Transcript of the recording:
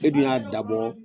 E du y'a dabɔ